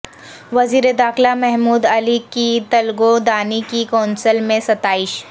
وزیر داخلہ محمود علی کی تلگو دانی کی کونسل میں ستائش